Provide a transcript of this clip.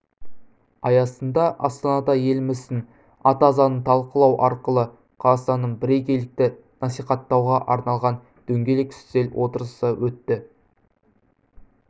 аясында астанада еліміздің ата заңын талқылау арқылы қазақстандық бірегейлікті насихаттауға арналған дөңгелек үстел отырысы өтті